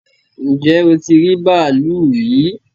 Ǹjẹ́ o ti rí bàálù rí?